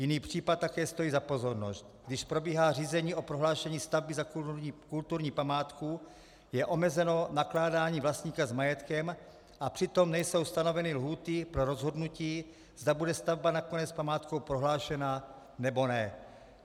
Jiný případ také stojí za pozornost: Když probíhá řízení o prohlášení stavby za kulturní památku, je omezeno nakládání vlastníka s majetkem, a přitom nejsou stanoveny lhůty pro rozhodnutí, zda bude stavba nakonec památkou prohlášena, anebo ne.